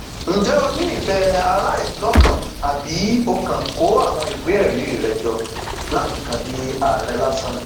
ǹjẹ ó ní ìfẹ aráàlú lọkàn àbí ó kàn kó àwọn ìwéẹrí rẹ jọ láti kàn di àárẹ lásán ni